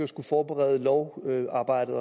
skulle forberede lovarbejdet